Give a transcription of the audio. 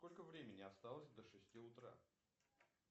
сколько времени осталось до шести утра